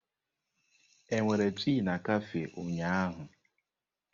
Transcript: Ị nwere tii na kafé ụnyaahụ?